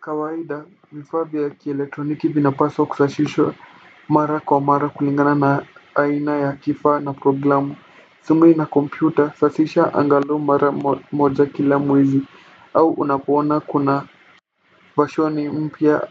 Kawaida, vifaa vya electroniki vinafaa kusafishwa mara kwa mara kulingana na aina ya kifaa na programu. Simu na kompyuta safisha angalau mara moja kwa mwezi au unapoona kuna version mpya